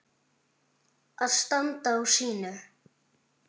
Að standa á sínu